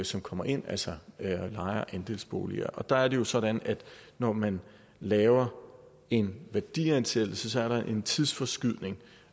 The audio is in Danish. som kommer ind altså leje og andelsboliger og der er det jo sådan at når man laver en værdiansættelse er der en tidsforskydning